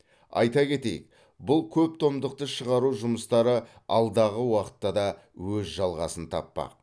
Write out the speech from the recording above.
айта кетейік бұл көптомдықты шығару жұмыстары алдағы уақытта да өз жалғасын таппақ